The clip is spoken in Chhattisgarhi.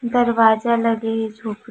दरवाज़ा लगे हे झोपडी--